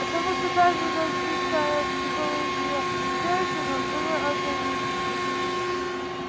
потому что даже развитая психология сэлдона была ограниченной